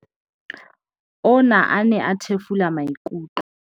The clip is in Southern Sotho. "Ona a ne a thefula maikutlo."